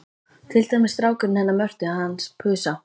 Til dæmis strákurinn hennar Mörtu hans Pusa.